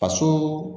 Faso